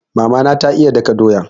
Mama na ta iya daka doya.